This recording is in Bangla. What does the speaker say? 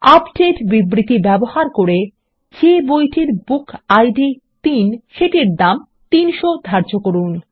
আপডেট বিবৃতি ব্যবহার করে যে বইটির বুকিড ৩ সেটির দাম ৩০০ ধার্য করুন